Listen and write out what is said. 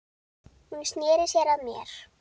Hún sneri sér að mér.